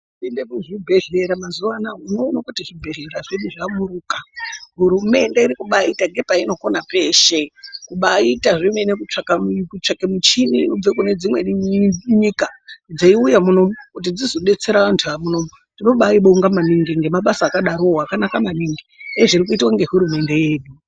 Ukaenda kuzvibhedhlera mazuwana unoona kuti zvibhedhlera zvedu zvamuruka hurumende irikubaita ngepainokona peshe kubaita zvemene kutsvaka kuchini dzekunedzimweni nyika dzeiuye munomu kuti dzizobetsera vantu varimunomu. Tinobai bonga maningi ngemabasa akanadarowo akanaka maningi ezvirikuitwa ngehurumende yedu.